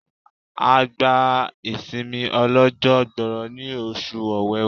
A gba ìsinmi ó lọ́jọ́ gbọọrọ ní oṣù ọ̀wẹ̀wẹ̀.